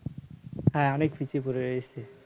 হ্যাঁ অনেক পিছিয়ে পড়ে রয়েছে